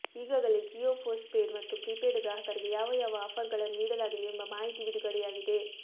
ಈಗಾಗಲೇ ಜಿಯೋ ಪೋಸ್ಟ್ಪೇಡ್ ಮತ್ತು ಪ್ರೀಪೇಡ್ ಗ್ರಾಹಕರಿಗೆ ಯಾವ ಯಾವ ಆಫರ್ಗಳನ್ನು ನೀಡಲಾಗಿದೆ ಎಂಬ ಮಾಹಿತಿ ಬಿಡುಗಡೆಯಾಗಿದೆ